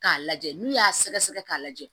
K'a lajɛ n'u y'a sɛgɛsɛgɛ k'a lajɛ